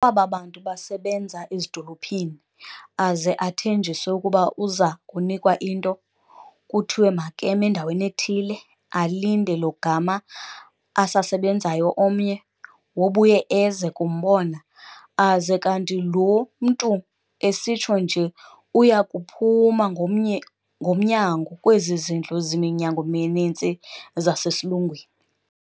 Kwaba bantu basebenza ezidolophini, aze athenjiswe ukuba uza kunikwa into, kuthiwe makeme endaweni ethile alinde lo gama asasebenzayo omnye, wobuye eze kumbona, aze kanti loo mntu esitsho nje uyakuphuma ngomnyango, Kwezi zindlu ziminyango mininzi zasesilungwini,